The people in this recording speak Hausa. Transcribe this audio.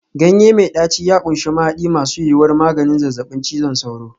Ganye mai ɗaci ya ƙunshi mahadi masu yuwuwar maganin zazzabin cizon sauro.